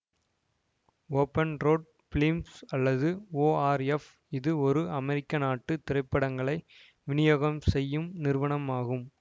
open road films அல்லது ORF இது ஒரு அமெரிக்க நாட்டு திரைப்படங்களை விநியோகம் செய்யும் நிறுவனமாகும்